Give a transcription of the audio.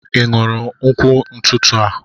ị ṅụrụ nkwụ n'ụtụtụ a?